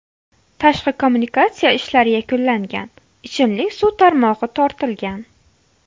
Tashqi kommunikatsiya ishlari yakunlangan, ichimlik suv tarmog‘i tortilgan.